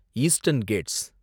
eastern Gates